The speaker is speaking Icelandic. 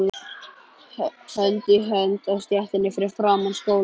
Hönd í hönd á stéttinni fyrir framan skólann.